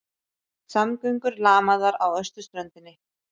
Samgöngur lamaðar á austurströndinni